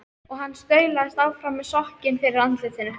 Og hann staulaðist áfram með sokkinn fyrir andlitinu.